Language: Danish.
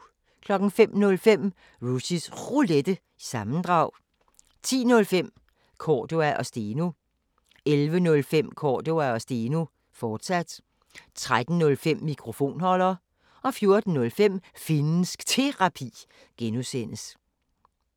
05:05: Rushys Roulette – sammendrag 10:05: Cordua & Steno 11:05: Cordua & Steno, fortsat 13:05: Mikrofonholder 14:05: Finnsk Terapi (G)